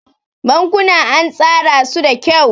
Bankuna an tsara su da kyau.